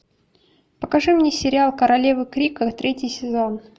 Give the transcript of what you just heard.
покажи мне сериал королева крика третий сезон